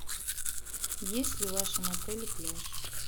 есть ли в вашем отеле пляж